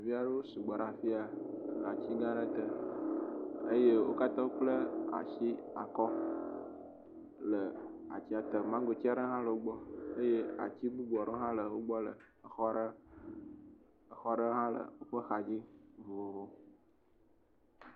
ɖeviaɖewo sugbɔ ɖa fia atsi gaãɖe te eye wókataãwokple asi akɔ le atia te mangotsiaɖe haãle wogbɔ eye atsi bubuaɖe haã le wógbɔ le fima exɔɖe haã le wo megbe